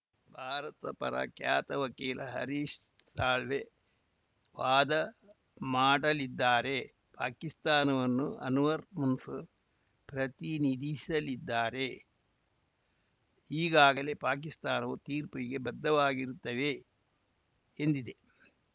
ಭಾರತದ ಪರ ಖ್ಯಾತ ವಕೀಲ ಹರೀಶ್‌ ಸಾಳ್ವೆ ವಾದ ಮಾಡಲಿದ್ದಾರೆ ಪಾಕಿಸ್ತಾನವನ್ನು ಅನ್ವರ್‌ ಮನ್ಸೂರ್‌ ಪ್ರತಿನಿಧಿಸಲಿದ್ದಾರೆ ಈಗಾಗಲೇ ಪಾಕಿಸ್ತಾನವು ತೀರ್ಪಿಗೆ ಬದ್ಧವಾಗಿರುತ್ತೇವೆ ಎಂದಿದೆ